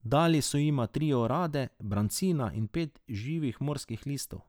Dali so jima tri orade, brancina in pet še živih morskih listov.